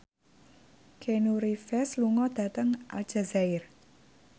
Keanu Reeves lunga dhateng Aljazair